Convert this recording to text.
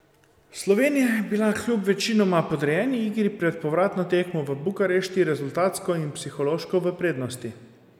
Slovenija je bila kljub večinoma podrejeni igri pred povratno tekmo v Bukarešti rezultatsko in psihološko v prednosti.